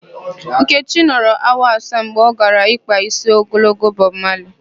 Nkechi nọrọ awa asaa mgbe ọ gara ịkpa ísí ogologo Bọb Mali.